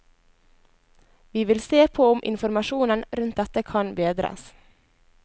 Vi vil se på om informasjonen rundt dette kan bedres.